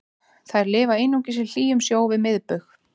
þær lifa einungis í hlýjum sjó við miðbaug